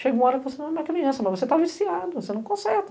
Chega uma hora que você não é mais criança, mas você está viciado, você não conserta.